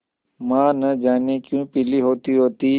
माँ न जाने क्यों पीली होतीहोती